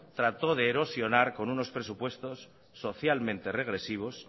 trató de erosionar con unos presupuestos socialmente regresivos